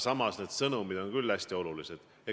Samas need sõnumid on ju hästi olulised.